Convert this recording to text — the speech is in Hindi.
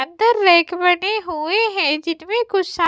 अंदर रैक बने हुए हैं जिनमें कुछ समान --